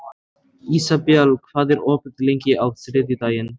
Ísabel, hvað er opið lengi á þriðjudaginn?